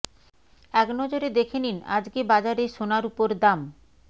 এক নজরে দেখে নিন আজ কে বাজারে সোনা রুপোর দাম